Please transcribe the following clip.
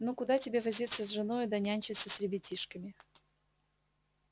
ну куда тебе возиться с женою да нянчиться с ребятишками